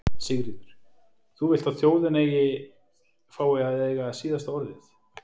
Sigríður: Þú vilt að þjóðin eigi, fái að eiga síðasta orðið?